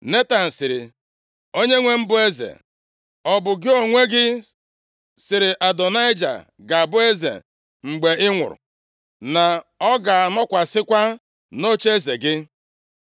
Netan sịrị, “Onyenwe m, bụ eze, ọ bụ gị onwe gị sịrị Adonaịja ga-abụ eze mgbe ị nwụrụ, na ọ ga-anọkwasịkwa nʼocheeze gị?